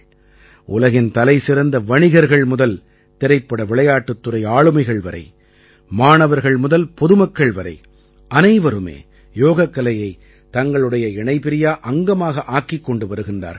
உலகின் தலைசிறந்த வணிகர்கள் முதல் திரைப்படவிளையாட்டுத் துறை ஆளுமைகள் வரை மாணவர்கள் முதல் பொதுமக்கள் வரை அனைவருமே யோகக்கலையைத் தங்களுடைய இணைபிரியா அங்கமாக ஆக்கிக் கொண்டு வருகிறார்கள்